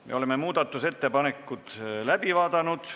Me oleme muudatusettepanekud läbi vaadanud.